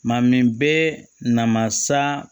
Maa min bɛ na masa